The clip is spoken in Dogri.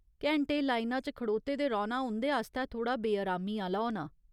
घैंटे लाइना च खड़ोते दे रौह्‌ना उं'दे आस्तै थोह्ड़ा बेअरामी आह्‌ला होना।